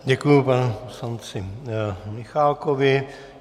Děkuji panu poslanci Michálkovi.